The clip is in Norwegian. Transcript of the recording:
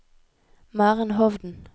Maren Hovden